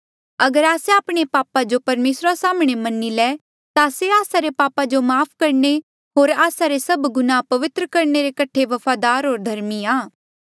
अगर आस्से आपणे पापा जो परमेसरा साम्हणें मनी ले ता से आस्सा रे पापा जो माफ़ करणे होर आस्सा रे सभ गुनाह पवित्र करणे क्यूंकि से वफादार होर धर्मी आ